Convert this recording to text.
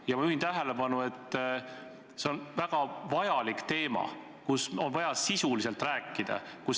Ja ma juhin tähelepanu, et praegu arutatav on väga oluline teema, mis nõuab sisulist arutelu.